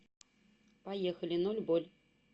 поехали ноль боль